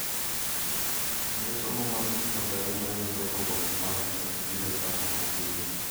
kendo somo mar sekondari ma yudo oboke mar Kenya biro chako mapiyo.